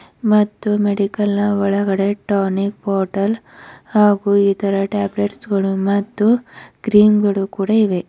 ಮತ್ತು ಮೆಡಿಕಲ್ ನ ಒಳಗಡೆ ಟಾನಿಕ್ ಬಾಟಲ್ ಹಾಗೂ ಇತರ ಟ್ಯಾಬ್ಲೆಟ್ಸ್ ಗಳು ಮತ್ತು ಕ್ರೀಮ್ ಗಳು ಕೂಡ ಇವೆ.